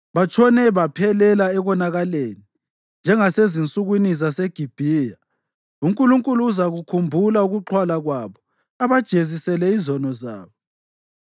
Batshone baphelela ekonakaleni, njengasezinsukwini zaseGibhiya. UNkulunkulu uzakukhumbula ukuxhwala kwabo abajezisele izono zabo.